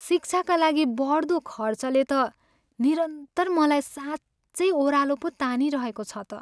शिक्षाका लागि बढ्दो खर्चले त निरन्तर मलाई साँच्चै ओह्रालो पो तानिरहेको छ त।